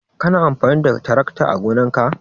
Kana amfani da tarakta ã gonan ka?